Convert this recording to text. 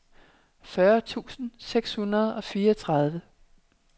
fyrre tusind seks hundrede og fireogtredive